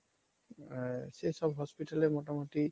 সেসব hospital এ মোটামোটি